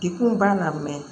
Dekun b'a la